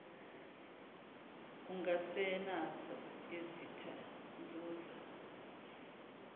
ungasenazo izitha nzuza